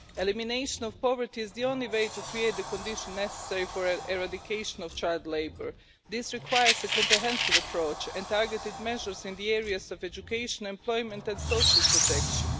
Elimination of poverty is the only way to create the conditions necessary for the eradication of child labour. This requires a comprehensive approach and targeted measures in the areas of education, employment and social protection.